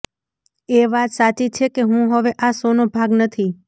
એ વાત સાચી છે કે હું હવે આ શોનો ભાગ નથી